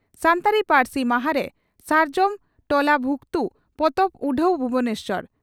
ᱥᱟᱱᱛᱟᱲᱤ ᱯᱟᱹᱨᱥᱤ ᱢᱟᱦᱟᱨᱮ 'ᱥᱟᱨᱡᱚᱢ ᱴᱚᱞᱟ ᱵᱷᱩᱠᱛᱩ' ᱯᱚᱛᱚᱵ ᱩᱰᱷᱟᱹᱣ ᱵᱷᱩᱵᱚᱱᱮᱥᱚᱨ